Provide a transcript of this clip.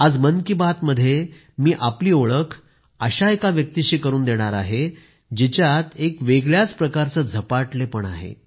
आज मन की बात मध्ये मी आपली ओळख अशा एका व्यक्तिशी करून देईन जिच्यात एक वेगळ्याच प्रकारचं झपाटलेपण आहे